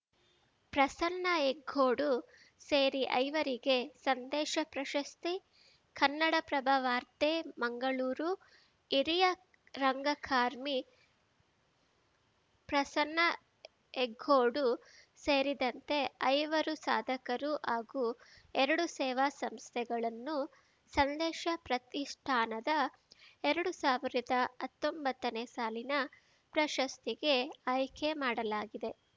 ಪ್ರಸನ್ನ ಹೆಗ್ಗೋಡು ಸೇರಿ ಐವರಿಗೆ ಸಂದೇಶ ಪ್ರಶಸ್ತಿ ಕನ್ನಡಪ್ರಭ ವಾರ್ತೆ ಮಂಗಳೂರು ಹಿರಿಯ ರಂಗಕಾರ್ಮಿ ಪ್ರಸನ್ನ ಹೆಗ್ಗೋಡು ಸೇರಿದಂತೆ ಐವರು ಸಾಧಕರು ಹಾಗೂ ಎರಡು ಸೇವಾ ಸಂಸ್ಥೆಗಳನ್ನು ಸಂದೇಶ ಪ್ರತಿಷ್ಠಾನದ ಎರಡು ಸಾವಿರದ ಅತ್ತೊಂಬತ್ತನೇ ಸಾಲಿನ ಪ್ರಶಸ್ತಿಗೆ ಆಯ್ಕೆ ಮಾಡಲಾಗಿದೆ